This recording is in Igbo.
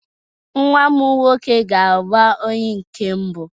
Nwa m nwoke ga-agba onye nke mbụ.